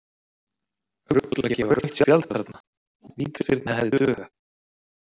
Rugl að gefa rautt spjald þarna, vítaspyrna hefði dugað.